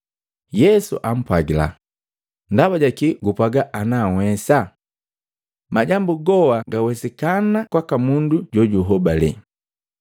Yesu ampwagila, “Ndaba jakii gupwaga ana nhwesa! Majambu goa gawesikana kwaka mundu joju hobale.”